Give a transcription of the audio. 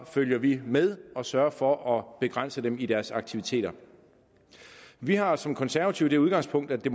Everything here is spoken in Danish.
følger vi med og sørger for at begrænse dem i deres aktiviteter vi har som konservative det udgangspunkt at det